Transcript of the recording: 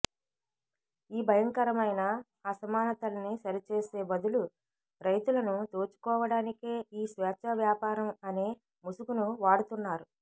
ఈ భయంకరమైన అసమానతల్ని సరిచేసే బదులు రైతులను దోచుకోవడానికే ఈ స్వేచ్ఛా వ్యాపారం అనే ముసుగును వాడుతున్నారు